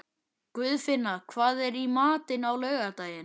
Guðfinna, hvað er í matinn á laugardaginn?